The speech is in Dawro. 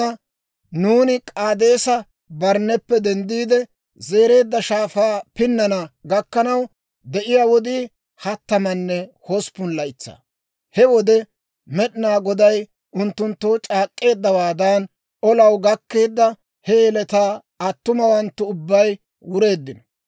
Nuuni K'aadeesa-Barnneppe denddiide, Zereedda Shaafaa pinnana gakkanaw de'iyaa wodii hattamanne hosppun laytsaa; he wode Med'inaa Goday unttunttoo c'aak'k'eeddawaadan, olaw gakkeedda he yeletaa attumawanttu ubbay wureeddino.